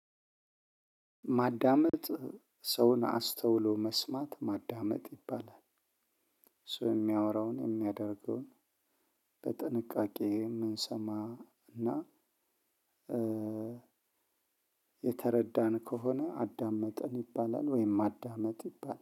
ማዳመጥ ሰውን አስተውሎ መስማት ማዳመጥ ይባላል። ሰው የሚያወራውን የሚያደርገውን በጥንቃቄ የምንሰማ እና የተረዳን ከሆነ አዳመጠን ይባላል። ወይም ማዳመጥ ይባላል